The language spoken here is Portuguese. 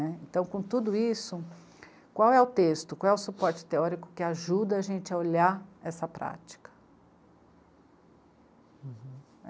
Né. Então, com tudo isso, qual é o texto, qual é o suporte teórico que ajuda a gente a olhar essa prática?